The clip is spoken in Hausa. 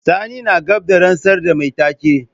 Sani na gab da rantsar da mai take.